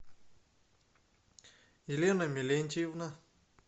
елена мелентьевна